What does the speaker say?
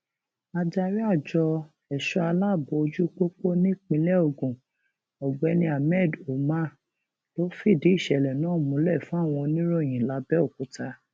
adarí àjọ ẹṣọ aláàbọ ojú pópó nípínlẹ ogun ọgbẹni ahmed umar ló fìdí ìṣẹlẹ náà múlẹ fáwọn oníròyìn làbẹòkúta